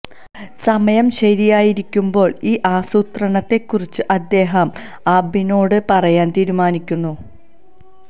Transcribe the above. സമയം ശരിയായിരിക്കുമ്പോൾ ഈ ആസൂത്രണത്തെ കുറിച്ച് അദ്ദേഹം ആബണിനോട് പറയാൻ തീരുമാനിക്കുന്നു